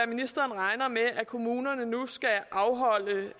ministeren regner med at kommunerne nu skal afholde